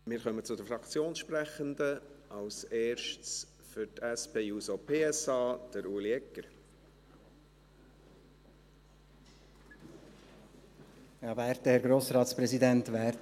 Wir kommen zu den Fraktionssprechenden, als Erster für die SP-JUSO-PSA: Ueli Egger.